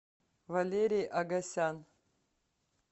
валерий агасян